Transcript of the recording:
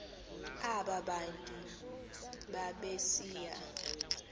aba bantu babesiya